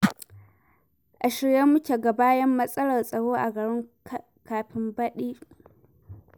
A shirye muke mu ga bayan matsalar tsaro a garin kafin baɗi.